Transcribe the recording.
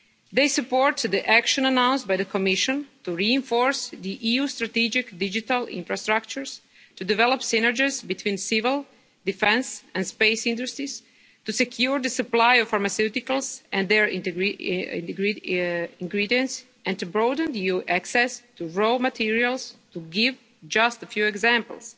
They support the action announced by the Commission to reinforce the EU's strategic digital infrastructures, to develop synergies between civil, defence and space industries, to secure the supply of pharmaceuticals and their ingredients, and to broaden EU access to raw materials, to give just a few examples.